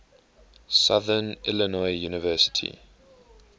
southern illinois university